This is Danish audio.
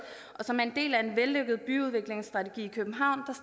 og som er en del af en vellykket byudviklingsstrategi i københavn